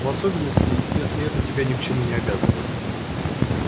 в особенности если это тебя ни к чему не обязывает